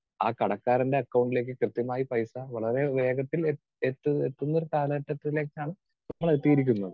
Speaker 2 ആ കടക്കാരന്റെ അക്കൗണ്ടിലേക്ക് കൃത്യമായി പൈസ വളരെ വേഗത്തിൽ എത്തു എത്തുന്ന ഒരു കാലഘട്ടത്തിലേക്കാണ് നമ്മൾ എത്തിയിരിക്കുന്നത്.